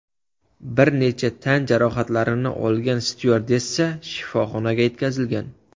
Bir necha tan jarohatlarini olgan styuardessa shifoxonaga yetkazilgan.